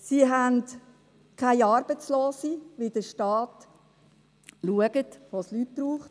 Es gibt keine Arbeitslose, weil der Staat schaut, wo es Leute braucht.